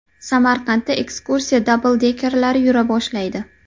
Samarqandda ekskursiya dabldekerlari yura boshlaydi.